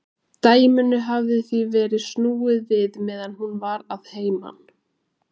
Dæminu hafði því verið snúið við meðan hún var að heiman.